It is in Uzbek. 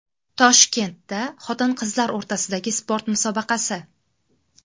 Toshkentda xotin-qizlar o‘rtasidagi sport musobaqasi.